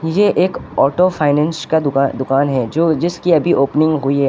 ये एक auto finance का दुकान दुकान दुकान है जो जिसकी अभी ओपनिंग हुई है।